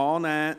/ Abstentions